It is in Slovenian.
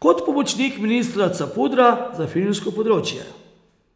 kot pomočnik ministra Capudra za filmsko področje.